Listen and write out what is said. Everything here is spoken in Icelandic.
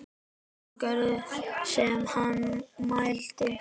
Hún gerði sem hann mælti.